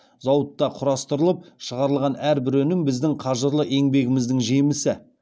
зауытта құрастырылып шығарылған әрбір өнім біздің қажырлы еңбегіміздің жемісі